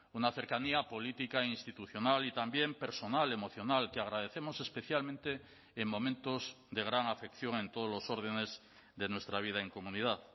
una cercanía política institucional y también personal emocional que agradecemos especialmente en momentos de gran afección en todos los órdenes de nuestra vida en comunidad